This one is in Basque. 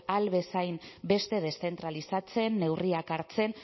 ahal bezainbeste deszentralizatzen neurriak hartzen